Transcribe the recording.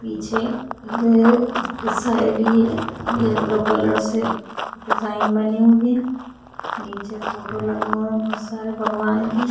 पीछे अ की साइड ये येलो कलर से डिजाईन बनी हुई है नीचे फोटो लगा हुआ है बहुत सारे भगवान की --